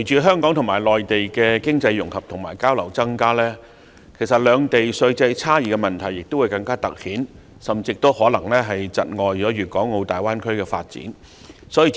香港和內地加強經濟融合和增加交流，更突顯兩地稅制的差異，甚至可能窒礙粵港澳大灣區的發展。